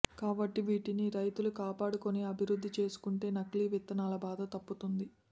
కాబట్టి వీటిని రైతులు కాపాడుకుని అభివృద్ధి చేసుకుంటే నకిలీ విత్తనాల బాధ తప్పుతుంది